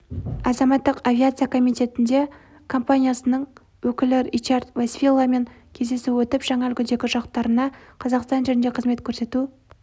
азаматтық авиация комитетінде компаниясының өкілі ричард вайсвиламен кездесу өтіп жаңа үлгідегі ұшақтарына қазақстан жерінде қызмет көрсету